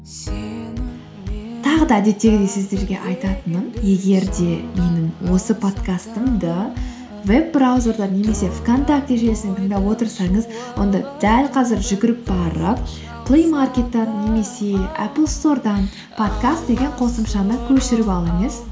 тағы да әдеттегідей сіздерге айтатыным егер де менің осы подкастымды веб браузерден немесе вконтакте желісінен тыңдап отырсаңыз онда дәл қазір жүгіріп барып плэймаркеттен немесе аплстордан подкаст деген қосымшаны көшіріп алыңыз